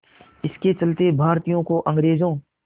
इसके चलते भारतीयों को अंग्रेज़ों